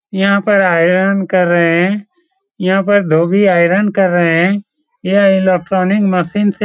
यहाँ पर आयरॉन कर रहे हैं यहाँ पर धोबी आयरन कर रहे हैं यहाँ इलेक्ट्रॉनिक मशीन से --